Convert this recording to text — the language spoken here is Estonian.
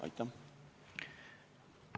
Aitäh!